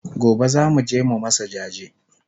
Gobe zamuje mu masu jaje